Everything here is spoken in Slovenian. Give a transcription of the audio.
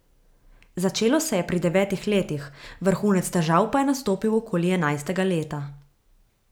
Začelo se je pri devetih letih, vrhunec težav pa je nastopil okoli enajstega leta.